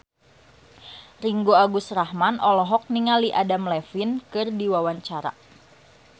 Ringgo Agus Rahman olohok ningali Adam Levine keur diwawancara